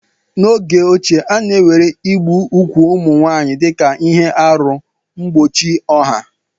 N'oge ochie, a na-ewere igbu ugwu ụmụ nwanyị dịka aruihe mgbochi ọha.